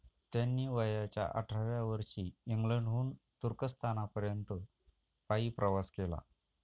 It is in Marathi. त्यांनी वयाच्या अठराव्या वर्षी इंग्लंडहून तुर्कस्थानापर्यंत पायी प्रवास केला.